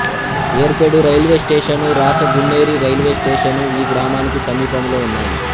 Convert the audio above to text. Yerpedu railway station Rachagunneri railway station ఈ గ్రామానికి సమీపములో ఉన్నాయి